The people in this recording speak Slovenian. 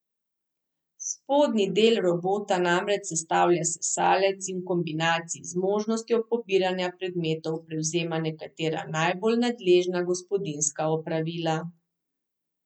Spodnji del robota namreč sestavlja sesalec in v kombinaciji z možnostjo pobiranja predmetov prevzema nekatera najbolj nadležna gospodinjska opravila.